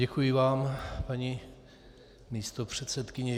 Děkuji vám, paní místopředsedkyně.